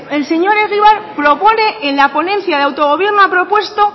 el señor egibar propone en la ponencia de autogobierno ha propuesto